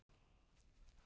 Undir álögum Norn!